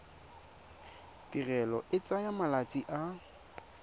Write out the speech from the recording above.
tirelo e tsaya malatsi a